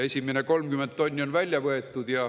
Esimesed 30 tonni on välja võetud.